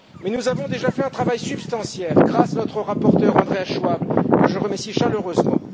Nous avons déjà fait un travail substantiel grâce à notre rapporteur Andreas Schwab, que je remercie chaleureusement.